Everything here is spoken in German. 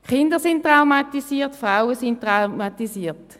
Die Kinder und die Frauen sind traumatisiert.